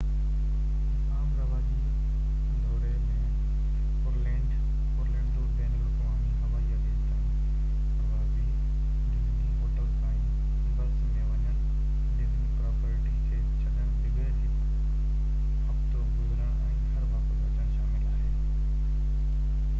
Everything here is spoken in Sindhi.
هڪ عام راوجي دوري ۾ اورلينڊو بين الاقوامي هوائي اڏي تائين پروازي ڊزني هوٽل تائين بس ۾ وڃڻ ڊزني پراپرٽي کي ڇڏڻ بغير هڪ هفتو گذارڻ ۽ گهر واپس اچڻ شامل آهي